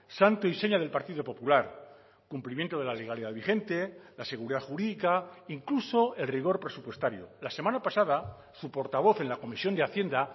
santo y seña del partido popular cumplimiento de la legalidad vigente la seguridad jurídica incluso el rigor presupuestario la semana pasada su portavoz en la comisión de hacienda